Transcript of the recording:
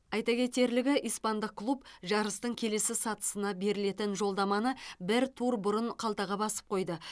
айта кетерлігі испандық клуб жарыстың келесі сатысына берілетін жолдаманы бір тур бұрын қалтаға басып қойды